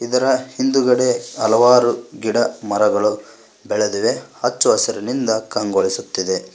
ಇದರ ಹಿಂದುಗಡೆ ಹಲವಾರು ಗಿಡ ಮರಗಳು ಬೆಳೆದಿವೆ ಅಚ್ಚ ಹಸುರಿನಿಂದ ಕಂಗೊಳಿಸುತ್ತಿದೆ.